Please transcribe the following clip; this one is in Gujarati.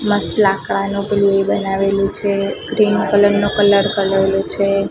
મસ્ત લાકડાનું પેલુ એ બનાવેલુ છે ગ્રીન કલર નો કલર કરેલો છે.